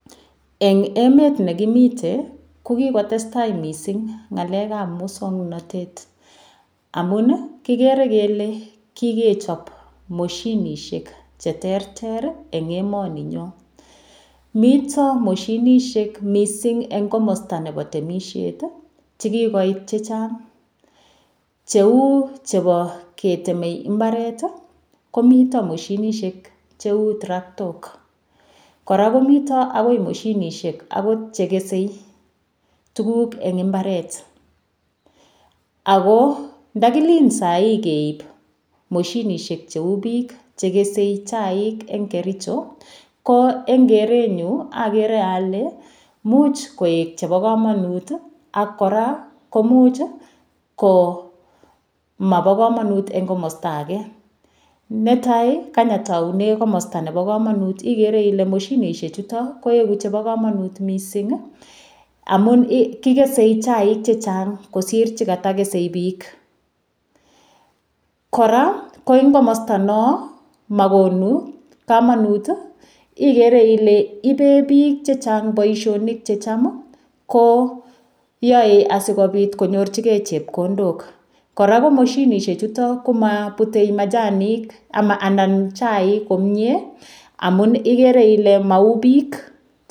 Eng' emet nekimite ko kikotestai mising' ng'alekab muswong'notet amun kikere kele kikechop moshinishek cheterter eng' emoni nyoo mito moshinishek mising eng' komosta nebo temishet chekikoit chechang' cheu chebo ketemei mbaret komito moshinishek cheu traktok kora komito akoi moshinishek akot chekesei tukuk eng' imbaret ako ndakilin sahi keib moshinishek cheu biik chekesei chaik eng' kericho ko eng' kerenyu akere ale muuch koek chebo kamanut ak kora komuch komabo kamanut eng' komosta age netai kany ataune kosta nebo kamanut ikere ile moshinishechuto koeku chebo kamanut mising' amun kikesei chaik chechang' kosir chekatakesei biik kora ko eng' komosta no makonu kamanut ikere ile ibee biik chechang' boishonik checham konyoei asikobit konyorchigei chepkondok kora ko moshinishechuto komaputei majani anan chaik komye amun ikere ile mau biik